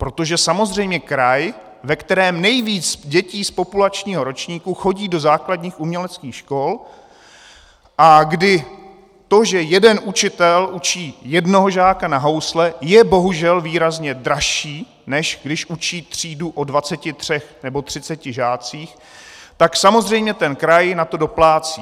Protože samozřejmě kraj, ve kterém nejvíc dětí z populačního ročníku chodí do základních uměleckých škol, a kdy to, že jeden učitel učí jednoho žáka na housle, je bohužel výrazně dražší, než když učí třídu o 23 nebo 30 žácích, tak samozřejmě ten kraj na to doplácí.